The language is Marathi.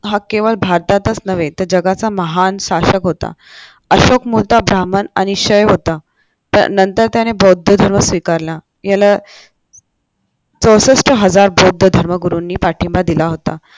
हा केवळ भारताचाच नव्हे तर जगाचा महान शासक होता अशोक मोठा ब्राह्मण आणि क्षय होता तर नंतर त्याने बौद्ध धर्म स्वीकारला याला चौसष्ट हजार बौद्ध धर्मगुरूंनी पाठिंबा दिला होता.